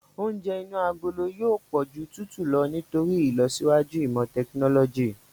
Oúnjẹ inú agolo yóò pọ̀ ju tútù lọ nítorí ìlọsíwájú ìmọ tẹkinọ́lọ́jì.